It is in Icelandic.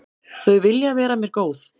Þau vilja vera mér góð.